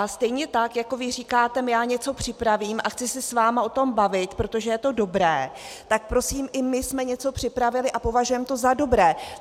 A stejně tak jako vy říkáte "já něco připravím a chci se s vámi o tom bavit, protože je to dobré", tak prosím i my jsme něco připravili a považujeme to za dobré.